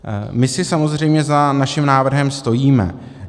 My si samozřejmě za svým návrhem stojíme.